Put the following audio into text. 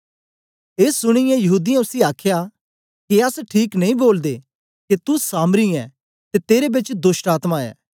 ए सुनीयै यहूदीयें उसी आखया के अस ठीक नेई बोलदे के तू सामरी ऐं ते तेरे बेच दोष्टआत्मा ऐ